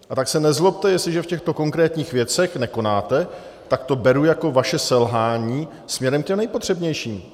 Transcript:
A tak se nezlobte, jestliže v těchto konkrétních věcech nekonáte, tak to beru jako vaše selhání směrem k těm nejpotřebnějším.